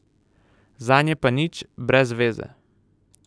Zanje pa nič, brez veze.